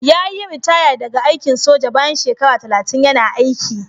Yayi ritaya daga aikin soja bayan shekara talatin yana aiki.